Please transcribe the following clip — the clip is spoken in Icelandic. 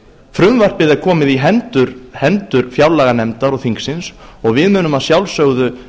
frumvarpið er komið í hendur fjárlaganefndar og þingsins og við munum að sjálfsögðu